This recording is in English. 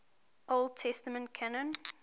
old testament canon